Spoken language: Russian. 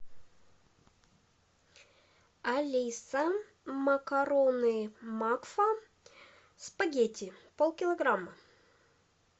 алиса макароны макфа спагетти пол килограмма